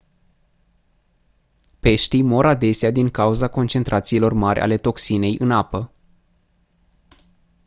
peștii mor adesea din cauza concentrațiilor mari ale toxinei în apă